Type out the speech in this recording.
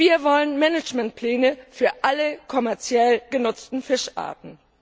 Wir wollen Managementpläne für alle kommerziell genutzten Fischarten.